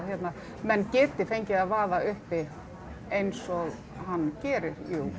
menn geti fengið að vaða uppi eins og hann gerir